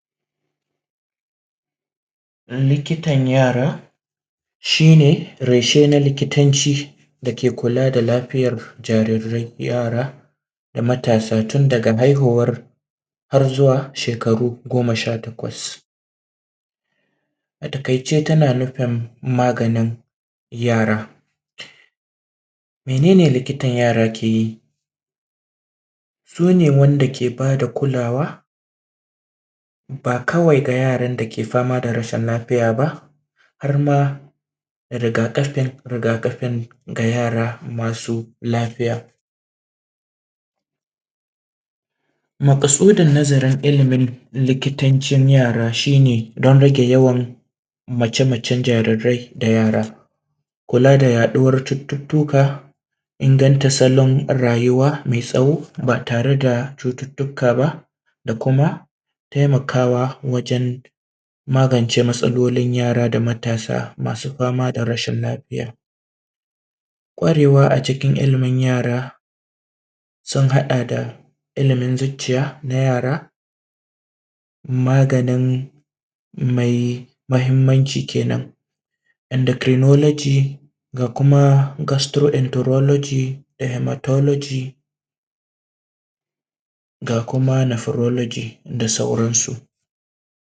Likitan yara shi ne reshe na likitanci, dake kula da lafiyar jarirai yara, da matasa tun daga haihuwa har zuwa shekaru goma sha takwas. a taƙaice, tana nufin maganin yara. Mene ne likitan yara ke yi? su ne wanda ke ba da kulawa, ba kawai ga yaran dake fama da rashin lafiya ba, har ma rigakafin rigakafin ga yara masu lafiya. Maƙasudin nazarin ilimin likitancin yara shi ne don rage yawan mace-macen jarirai da yara, kula da da yaɗuwar cututtuka, inganta salon rayuwa mai tsawo ba tare da cututtuka, da kuma taimakawa wajen magance matsalolin yara da matasa masu fama da rashin lafiya. Ƙwarewa a cikin ilimin yara sun haɗa da ilimin zucciya na yara, magani mai mahimmanci kenan, endecronolgy, ga kuma gastroenterology, hemertology ga kuma nephrology da sauransu.